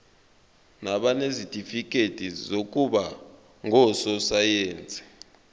nabanezitifikedi zokuba ngososayense